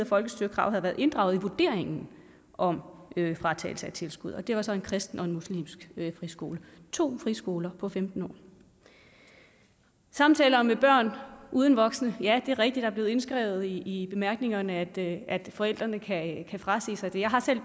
folkestyrekravet været inddraget i vurderingen om fratagelse af tilskuddet og det var så en kristen og en muslimsk friskole to friskoler på femten år samtaler med børn uden voksne ja det er rigtigt at blevet indskrevet i bemærkningerne at forældre kan frasige sig det jeg har selv